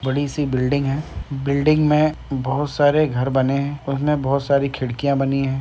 बड़ी सी बिल्डिंग है। बिल्डिंग में बहुत सारे घर बने हैं। उसमें बहुत सारी खिड़कियाँ बनी है।